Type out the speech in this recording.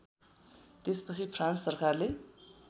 त्यसपछि फ्रान्स सरकारले